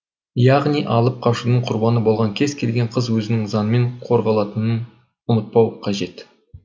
яғни алып қашудың құрбаны болған кез келген қыз өзінің заңмен қорғалатынын ұмытпауы қажет